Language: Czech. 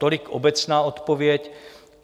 Tolik obecná odpověď.